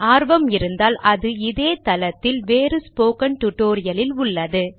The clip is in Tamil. ஆர்வம் இருந்தால் அது இதே தளத்தில் வேறு ஸ்போக்கன் டுடோரியலில் உள்ளது